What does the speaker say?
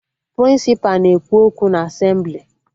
Prịnsịpa na-ekwu okwu na Asemblị